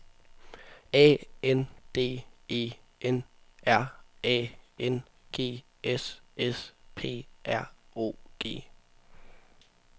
A N D E N R A N G S S P R O G